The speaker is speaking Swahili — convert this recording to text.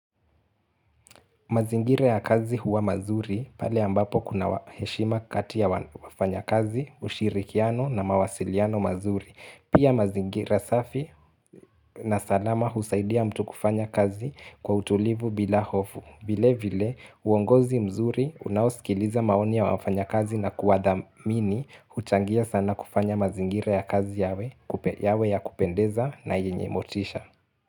Mazingira ya kazi huwa mazuri, pale ambapo kuna heshima katia wafanya kazi, ushirikiano na mawasiliano mazuri. Pia mazingira safi na salama husaidia mtu kufanya kazi kwa utulivu bila hofu. Vile vile, uongozi mzuri, unaosikiliza maoni ya wafanyakazi na kuathamini, huchangia sana kufanya mazingire ya kazi yawe ya kupendeza na yenye motisha.